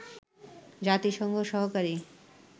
জাতিসংঘ সহকারী